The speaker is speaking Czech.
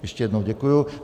Ještě jednou děkuji.